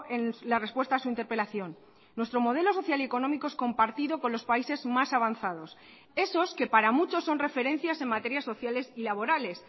en la respuesta a su interpelación nuestro modelo social y económico es compartido con los países más avanzados esos que para muchos son referencias en materias sociales y laborales